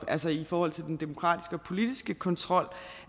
altså i forhold til den demokratiske og politiske kontrol